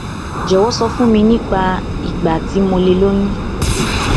jọwọ sọ fún mi nípa ìgbà tí mo lè lóyún